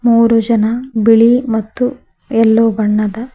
ಮೂರು ಜನ ಬಿಳಿ ಮತ್ತು ಯಲ್ಲೋ ಬಣ್ಣದ--